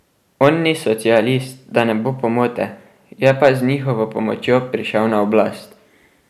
On ni socialist, da ne bo pomote, je pa z njihovo pomočjo prišel na oblast.